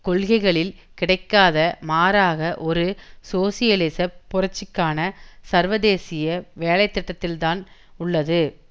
கொள்கைகளில் கிடைக்காது மாறாக ஒரு சோசியலிச புரட்சிக்கான சர்வதேசிய வேலைத்திட்டத்தில்தான் உள்ளது